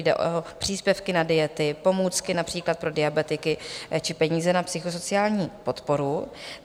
Jde o příspěvky na diety, pomůcky například pro diabetiky či peníze na psychosociální podporu.